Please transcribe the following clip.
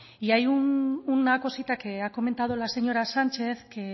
y hay una cosita que ha comentado la señora sánchez que